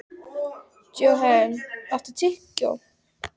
Johan, áttu tyggjó?